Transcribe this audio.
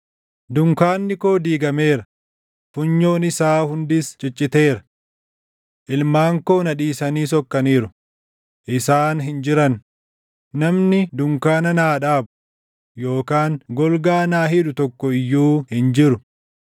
Dunkaanni koo diigameera; funyoon isaa hundis cicciteera. Ilmaan koo na dhiisanii sokkaniiru; isaan hin jiran; namni dunkaana naa dhaabu, yookaan golgaa naa hidhu tokko iyyuu hin jiru.